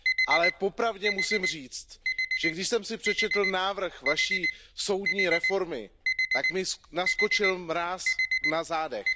Ale po pravdě musím říct, že když jsem si přečetl návrh vaší soudní reformy, tak mně naskočil mráz na zádech.